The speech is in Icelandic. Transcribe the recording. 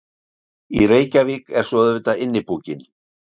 Í Reykjavík er svo auðvitað Innipúkinn.